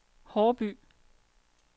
Haarby